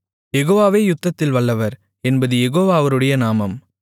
யெகோவாவே யுத்தத்தில் வல்லவர் என்பது யெகோவா அவருடைய நாமம்